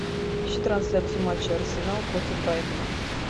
ищи трансляцию матча арсенал против брайтона